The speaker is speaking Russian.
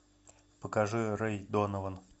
покажи рэй донован